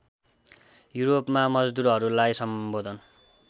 युरोपमा मजदुरहरूलाई सम्बोधन